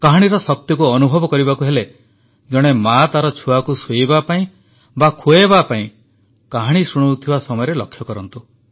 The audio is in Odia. କାହାଣୀର ଶକ୍ତିକୁ ଅନୁଭବ କରିବାକୁ ହେଲେ ଜଣେ ମାଆ ତାର ଛୁଆକୁ ଶୁଆଇବା ପାଇଁ ବା ଖୁଆଇବା ପାଇଁ କାହାଣୀ ଶୁଣାଉଥିବା ସମୟରେ ଲକ୍ଷ୍ୟ କରନ୍ତୁ